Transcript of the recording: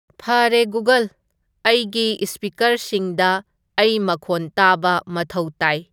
ꯐꯥꯔꯦ ꯒꯨꯒꯜ ꯑꯩꯒꯤ ꯏ꯭ꯁꯄꯤꯀꯔꯁꯤꯡꯗ ꯑꯩ ꯃꯈꯣꯟ ꯇꯥꯕ ꯃꯊꯧ ꯇꯥꯏ